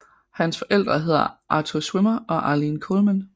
Hans forældre hedder Arthur Schwimmer og Arlene Colman